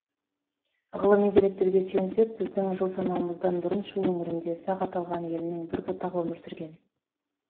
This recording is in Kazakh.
ғылыми деректерге сүйенсек біздің жыл санауымыздан бұрын шу өңірінде сақ аталған елдің бір бұтағы өмір сүрген